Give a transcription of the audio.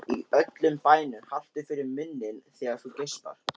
Í öllum bænum haltu fyrir munninn þegar þú geispar.